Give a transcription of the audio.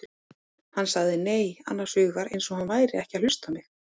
Hann sagði nei, annars hugar eins og hann væri ekki að hlusta á mig.